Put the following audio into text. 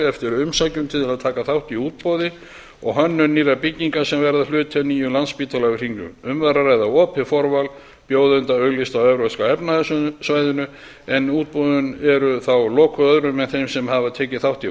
eftir umsækjendum til að taka þátt í útboði á hönnun nýrra bygginga sem verða hluti af nýjum landspítala við hringbraut um var að ræða opið forval bjóðenda auglýst á evrópska efnahagssvæðinu en útboðin eru þá lokuð öðrum en þeim sem tekið hafa þátt í